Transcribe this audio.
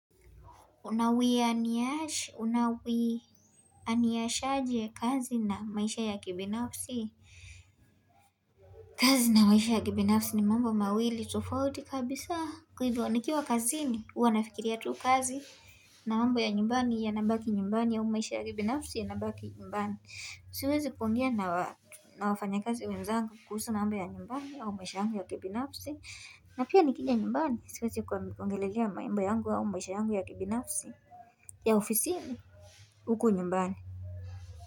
Unawianishaje kazi na maisha ya kibinafsi kazi na maisha ya kibinafsi ni mambo mawili tufauti kabisa kwahivyo nikiwa kazi ni huwa nafikiria tu kazi na mambo ya nyumbani yanabaki nyumbani ya au maisha ya kibinafsi yana baki nyumbani Usiwezi kuongea na wafanya kazi wenzangu kuhusu na mambo ya nyumbani ya au maisha ya kibinafsi na pia nikija nyumbani siwezi kuangoelea mambo yangu ya maisha yangu ya kibinafsi ya ofisini huko nyumbani.